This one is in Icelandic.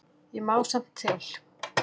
Ég má samt til.